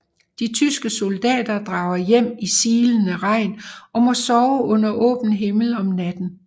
De tyske soldater drager hjem i silende regn og må sove under åben himmel om natten